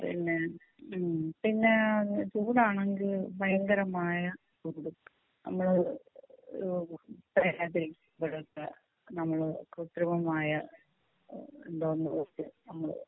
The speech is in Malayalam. പിന്നെ ഉം പിന്നെ ചൂടാണെങ്കിൽ ഭയങ്കരമായ ചൂട് നമ്മള് ഏഹ് നമ്മൾ കൃത്രിമമായ നമ്മള്